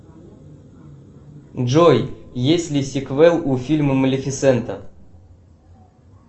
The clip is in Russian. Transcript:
джой есть ли сиквел у фильма малефисента